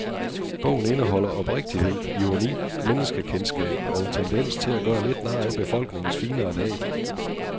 Bogen indeholder oprigtighed, ironi, menneskekendskab og en tendens til at gøre lidt nar af befolkningens finere lag.